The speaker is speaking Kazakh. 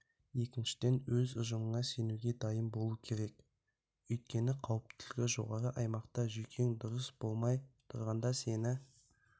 екіншіден өз ұжымына сенуге дайын болуы керек өйткені қауіптілігі жоғары аймақта жүйкең дұрыс болмай тұрғанда сені